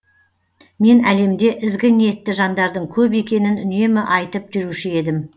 мен әлемде ізгі ниетті жандардың көп екенін үнемі айтып жүруші едім